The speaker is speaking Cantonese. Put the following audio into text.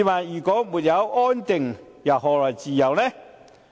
如果沒有安定，又何來自由呢？